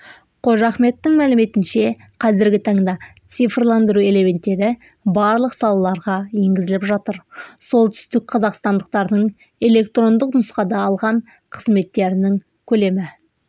қожахметтің мәліметінше қазіргі таңда цифрландыру элементтері барлық салаларға енгізіліп жатыр солтүстікқазақстандықтардың электрондық нұсқада алған қызметтерінің көлемі